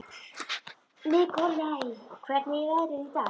Nikolai, hvernig er veðrið í dag?